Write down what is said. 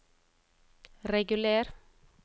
reguler